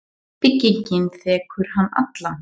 Byggingin þekur hann allan.